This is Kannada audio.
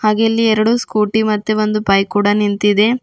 ಹಾಗೆ ಇಲ್ಲಿ ಎರಡು ಸ್ಕೂಟಿ ಮತ್ತು ಒಂದು ಬೈಕ್ ಕೂಡ ನಿಂತಿದೆ.